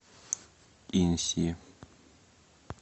инси